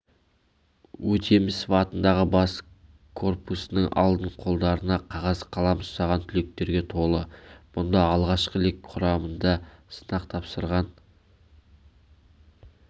өтемісов атындағы бас корпусының алды қолдарына қағаз-қалам ұстаған түлектерге толы мұнда алғашқы лек құрамында сынақ тапсырған